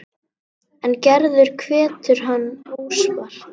En Gerður hvetur hann óspart.